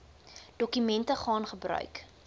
dokumente gaan gebruik